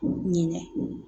Ɲinɛ